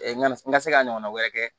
Na n ka se ka ɲɔgɔn wɛrɛ kɛ